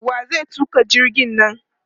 Wa zai tuƙa jirgin nan?